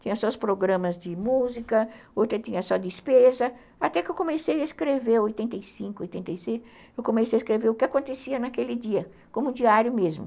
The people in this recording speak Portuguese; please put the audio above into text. tinha só os programas de música, outra tinha só despesa, até que eu comecei a escrever, oitenta e cinco, oitenta e seis, eu comecei a escrever o que acontecia naquele dia, como diário mesmo.